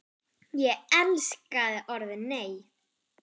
Ég elskaði orðið NEI!